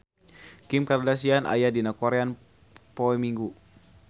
Kim Kardashian aya dina koran poe Minggon